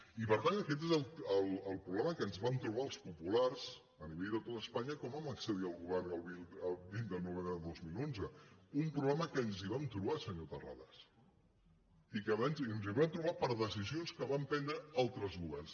i per tant aquest és el pro·blema que ens vam trobar els populars a nivell de tot espanya quan vam accedir al govern el vint de novem·bre de dos mil onze un problema en què ens vam trobar se·nyor terrades i que ens hi vam trobar per decisions que van prendre altres governs